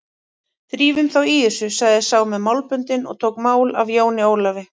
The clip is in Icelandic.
Drífum þá í þessu, sagði sá með málböndin og tók mál af Jóni Ólafi.